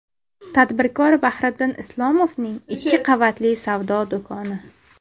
Tadbirkor Bahriddin Isomovning ikki qavatli savdo do‘koni.